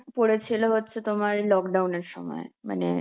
পড়েছিল হচ্ছে তোমার lockdown এর সময়, মানে